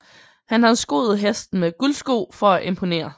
Han har skoet hesten med guldsko for at imponere